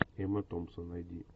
эмма томпсон найди